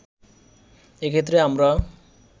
এক্ষেত্রে আমরা